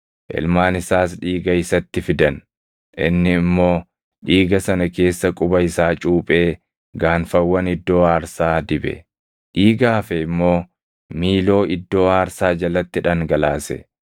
Ilmaan isaas dhiiga isatti fidan; inni immoo dhiiga sana keessa quba isaa cuuphee gaanfawwan iddoo aarsaa dibe; dhiiga hafe immoo miiloo iddoo aarsaa jalatti dhangalaase.